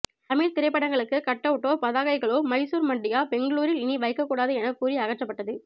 தமிழ் திரைபடங்களுக்கு கட்டவுட்டோ பதாகைகளோ மைசூர் மண்டியா பெங்களூரில் இனி வைக்க கூடாது என கூறி அகற்றபட்டது